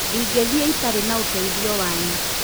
Ndingĩthii itarĩ na ũteithio wanyu